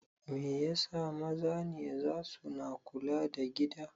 Mai yasa maza ne zasu na kula da gida?